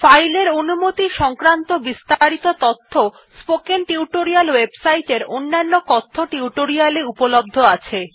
file এর অনুমতি সংক্রান বিস্তারিত তথ্য httpspoken tutorialorg এ অনন্য কথ্য টিউটোরিয়াল এ উপলব্ধ আছে